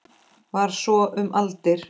Var svo um aldir.